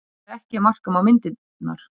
Allavega ekki ef marka má myndirnar